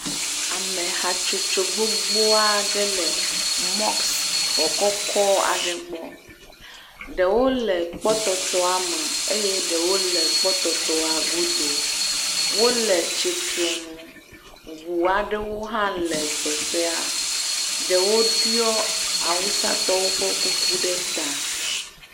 Ameha tsotso gbogbo aɖe le mɔskixɔ kɔkɔ aɖe gbɔ ɖewo le kpɔtɔtɔa me eye ɖewo le kpɔtɔtɔa godo, wole tsitre nu. Ŋu aɖewo hã le teƒea. Ɖewo ɖiɔ awusatɔwo ƒe kuku ɖe ta.